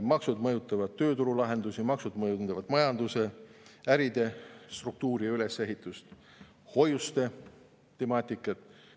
Maksud mõjutavad tööturulahendusi, maksud mõjutavad majanduse ja äride struktuuri ja ülesehitust, hoiuste temaatikat.